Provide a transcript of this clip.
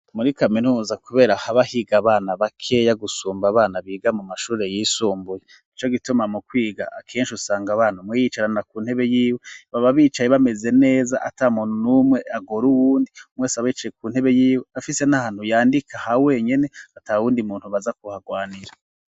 Muri kaminuza kubera haba higa abana bakeya gusumba abana biga mu mashure yisumbuye, n'ico gituma mu kwiga akenshi usanga abana umwe yiyicarana ku ntebe y'iwe, baba bicaye bameze neza atamuntu n'umwe agora uwundi, umwese aba yicaye ku ntebe y'iwe, afise n'ahantu yandika ha wenyene, ata wundi muntu baza kuhagwanira.